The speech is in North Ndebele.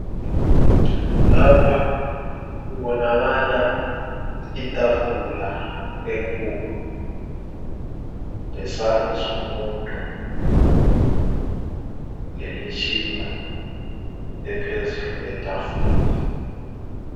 Lapha kubonakala itafula enkulu lesandla somuntu lemitshina ephezulu kwetafula.